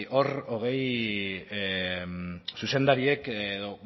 hor hogei zuzendariek edo